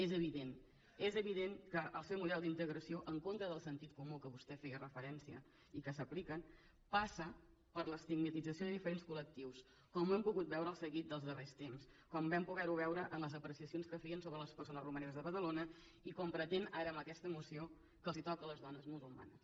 és evident és evident que el seu model d’integració en contra del sentit comú a què vostè feia referència i que s’apliquen passa per l’estigmatització de diferents collectius com ho hem pogut veure en el seguit dels darrers temps com vam poder ho veure en les apreciacions que feien sobre les persones romaneses de badalona i com pretén ara amb aquesta moció que els toca a les dones musulmanes